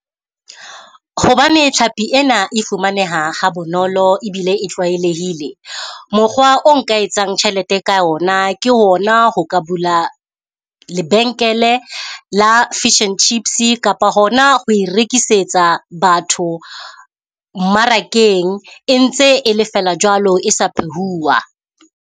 Hobane tlhapi ena e fumaneha ha bonolo ebile e tlwaelehile, mokgwa o nka etsang tjhelete ka ona. Ke hona ho ka bula lebenkele la fish and chips-i kapa hona ho e rekisetsa batho mmarakeng, e ntse e le feela jwalo e sa phehuwa.